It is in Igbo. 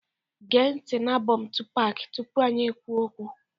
Gee ntị na album Tupac tupu anyị ekwuo okwu